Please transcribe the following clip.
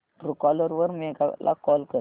Truecaller वर मेघा ला call कर